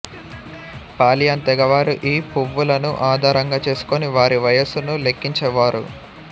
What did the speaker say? Pauline తెగవారు ఈ పువ్వులను ఆధారంగా చేసుకొని వారి వయసును లెక్కించేవారు